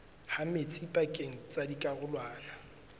ha metsi pakeng tsa dikarolwana